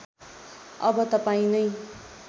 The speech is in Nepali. अब तपाईँं नै